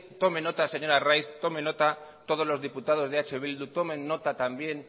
tome nota señor arraiz tomen nota todos los diputados de eh bildu tomen nota también